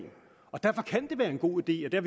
og derfor kan det være en god idé og det